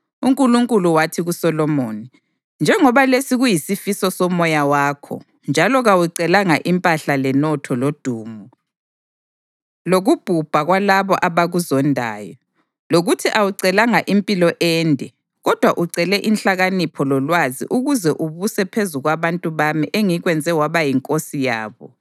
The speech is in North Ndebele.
UNkulunkulu wathi kuSolomoni, “Njengoba lesi kuyisifiso somoya wakho njalo kawucelanga impahla lenotho lodumo, lokubhubha kwalabo abakuzondayo, lokuthi awucelanga impilo ende kodwa ucele inhlakanipho lolwazi ukuze ubuse phezu kwabantu bami engikwenze waba yinkosi yabo,